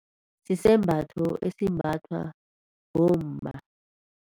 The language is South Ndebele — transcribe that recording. Sisembatho esimbathwa bomma.